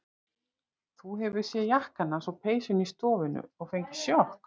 Þú hefur séð jakkann hans og peysuna í stofunni og fengið sjokk.